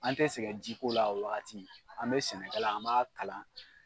An tɛ sɛgɛn ji ko la o wagati an bɛ sɛnɛkalan an m'a kalan.